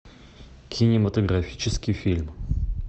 кинематографический фильм